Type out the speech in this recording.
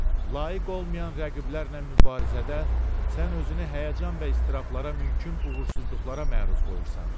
Layiq olmayan rəqiblərlə mübarizədə sən özünü həyəcan və istirablara mümkün uğursuzluqlara məruz qoyursan.